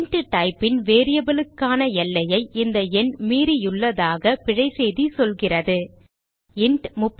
int type ன் variable க்கான எல்லையை இந்த எண் மீறியுள்ளதாக பிழை செய்தி சொல்கிறது இன்ட்